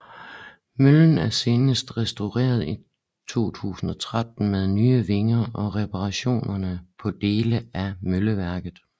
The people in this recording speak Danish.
Møllen er senest restaureret i 2013 med nye vinger og reparationer på dele af mølleværket